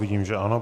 Vidím, že ano.